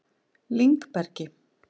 Lyngbergi